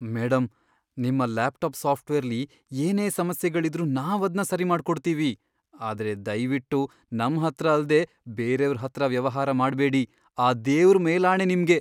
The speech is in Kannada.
ಮೇಡಂ, ನಿಮ್ಮ ಲ್ಯಾಪ್ಟಾಪ್ ಸಾಫ್ಟ್ವೇರ್ಲಿ ಏನೇ ಸಮಸ್ಯೆಗಳಿದ್ರೂ ನಾವದ್ನ ಸರಿಮಾಡ್ಕೊಡ್ತೀವಿ, ಆದ್ರೆ ದಯ್ವಿಟ್ಟು ನಮ್ಹತ್ರ ಅಲ್ದೇ ಬೇರೇವ್ರ್ ಹತ್ರ ವ್ಯವಹಾರ ಮಾಡ್ಬೇಡಿ, ಆ ದೇವ್ರ್ ಮೇಲಾಣೆ ನಿಮ್ಗೆ.